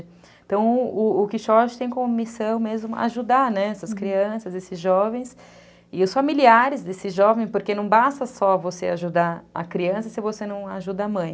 Então, o o Quixote tem como missão mesmo ajudar, né, essas crianças, esses jovens e os familiares, né, desses jovens, porque não basta só você ajudar a criança se você não ajuda a mãe.